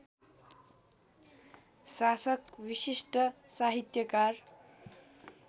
शासक विशिष्ट साहित्यकार